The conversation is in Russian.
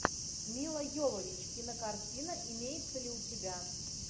мила йовович кинокартина имеется ли у тебя